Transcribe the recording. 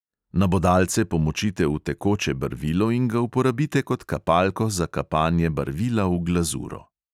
Nabodalce pomočite v tekoče barvilo in ga uporabite kot kapalko za kapanje barvila v glazuro.